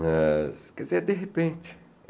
Mas, quer dizer, é de repente.